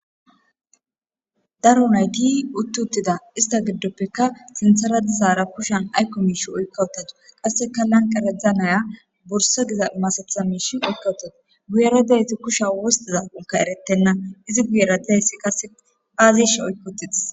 daro nayti utti uttida ista giddoppekka sinthara dizaara kushan aykko miish oykkawutatu qasseka lanqeredza naya borsa giza masatha mish oykkawutata guyeredeyti kusha wostiza unka eretenna izi guyera didayssi kase aazish oykkaotitis